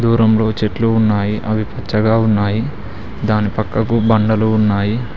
దూరంలో చెట్లు ఉన్నాయి అవి పచ్చగా ఉన్నాయి దాని పక్కకు బండలు ఉన్నాయి.